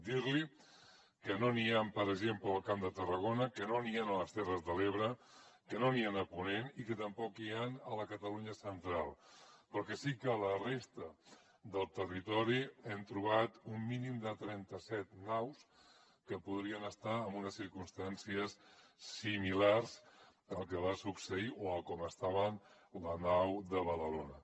dir li que no n’hi han per exemple al camp de tarragona que no n’hi han a les terres de l’ebre que no n’hi han a ponent i que tampoc n’hi han a la catalunya central però que sí que a la resta del territori hem trobat un mínim de trenta set naus que podrien estar en unes circumstàncies similars al que va succeir o a com estava la nau de badalona